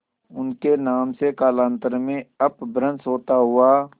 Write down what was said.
उनके नाम से कालांतर में अपभ्रंश होता हुआ